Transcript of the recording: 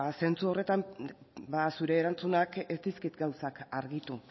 zentzu horretan zure erantzunak ez dizkit gauzak argitu